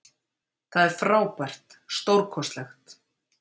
Það er frábært, stórkostlegt.